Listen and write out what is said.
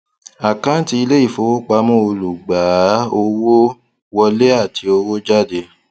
àkáńtì ilé ìfowópamọ olùgbàá owó wọlé àti owó jáde